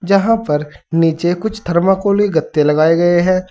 यहां पर नीचे कुछ थर्माकोली गत्ते लगाए गए हैं।